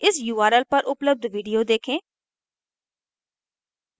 इस url पर उपलब्ध video देखें